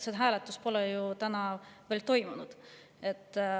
See hääletus pole ju veel toimunud.